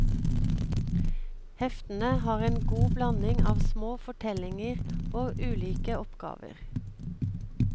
Heftene har en god blanding av små fortellinger og ulike oppgaver.